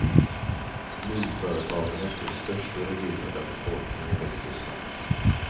Nyföretagandet är störst i regioner där befolkningen växer snabbt.